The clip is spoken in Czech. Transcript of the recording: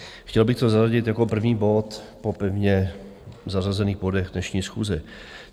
Chtěl bych to zařadit jako první bod po pevně zařazených bodech dnešní schůze.